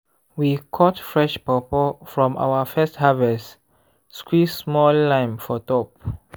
we cut fresh pawpaw from our first harvest squeeze small lime for top.